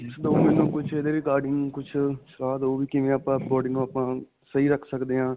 tips ਦਓ ਮੈਨੂੰ ਕੁੱਛ ਇਹਦੇ regarding ਕੁੱਛ ਸਲਾਹ ਦਹੋ ਵੀ ਕਿਵੇ ਆਪਾਂ body ਨੂੰ ਆਪਾਂ ਸਹੀ ਰੱਖ ਸਕਦੇ ਹਾਂ